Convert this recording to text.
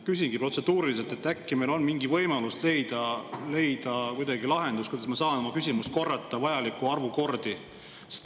Küsingi protseduuriliselt, et äkki meil on mingi võimalus leida kuidagi lahendus, kuidas ma saan oma küsimust korrata vajaliku arvu kordi.